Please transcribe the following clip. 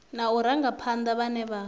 na u rangaphana vhane vha